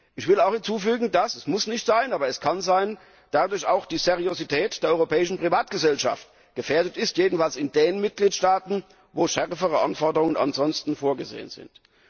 Ich möchte auch hinzufügen, dass es muss nicht sein, aber es kann sein dadurch auch die Seriosität der Europäischen Privatgesellschaft gefährdet ist, jedenfalls in den Mitgliedstaaten, in denen ansonsten strengere Anforderungen vorgesehen sind.